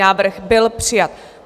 Návrh byl přijat.